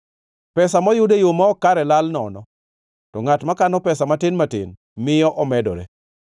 Pesa moyud e yo ma ok kare lal nono, to ngʼat makano pesa matin matin miyo omedore.